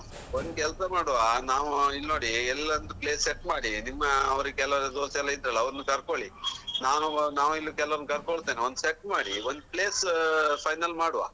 ಒಂದು ಕೆಲ್ಸ ಮಾಡುವ ನಾವು ಇಲ್ನೋಡಿ ಎಲ್ಲೊಂದು place set ಮಾಡಿ ನಿಮ್ಮ ಅವರಿಗೆಲ್ಲಾ ಕೆಲವರ ದೋಸ್ತೆಲ್ಲಾ ಇದ್ರಲ್ಲಾ ಅವ್ರನ್ನು ಕರ್ಕೊಳ್ಳಿ ನಾನು ನಾವ್ ಇಲ್ಲಿ ಕೆಲವ್ ಕರ್ಕೊಳ್ತೇನೆ ಒಂದ್ set ಮಾಡಿ ಒಂದ್ place final ಮಾಡುವ.